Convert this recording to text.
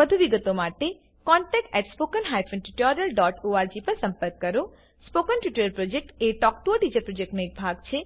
વધુ વિગતમાં જાણવા માટે contactspoken tutorialorg પર સંપર્ક સાધો સ્પોકન ટ્યુટોરીયલ પ્રોજેક્ટ એ ટોક ટુ અ ટીચર પ્રોજેક્ટનો એક ભાગ છે